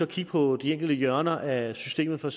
kigge på de enkelte hjørner af systemet for